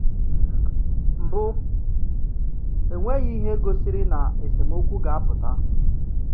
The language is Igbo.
Mbụ, enweghi ihe gosiri na esemokwu ga-apụta.